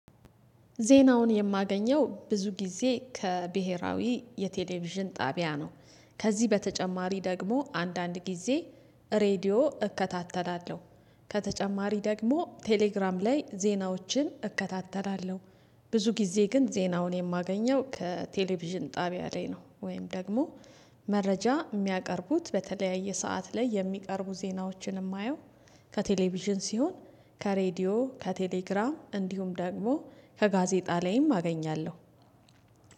ዜናውን የማገኘው ብዙ ጊዜ ከብሄራዊ የቴሌቪዥን ጣቢያ ነው። ከዚህ በተጨማሪ ደግሞ አንዳንድ ጊዜ ሬድዮ እከታተላለሁ። ከተጨማሪ ደግሞ ቴሌግራም ላይ ዜናዎችን እከታተላለሁ። ብዙ ጊዜ ግን ዜናውን የማገኘው ከቴሌቪዥን ጣቢያ ላይ ነው ወይም ደግሞ መረጃ እሚያቀርቡት በተለያየ ሰዓት ላይ የሚቀርቡ ዜናዎችን እማየው። ከቴሌቪዥን ሲሆን ከሬዲዮ ከቴሌግራም እንዲሁም ደግሞ ከጋዜጣ ላይም አገኛለሁ።